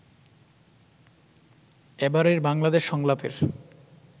এবারের বাংলাদেশ সংলাপের